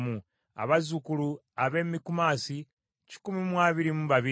abazzukulu ab’e Mikumasi kikumi mu abiri mu babiri (122),